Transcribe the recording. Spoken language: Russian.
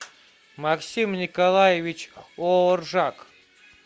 максим николаевич ооржак